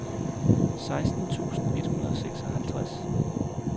seksten tusind et hundrede og seksoghalvtreds